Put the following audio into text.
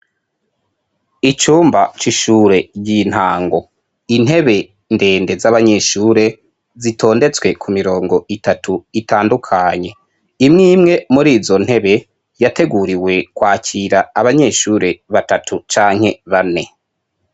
Icyumba c'ishure ry'intango intebe ndende z'abanyeshure zitondetswe ku mirongo itatu itandukanye imwimwe muri zo ntebe yateguriwe kwakira abanyeshure batatu canke bane.